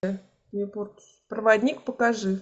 проводник покажи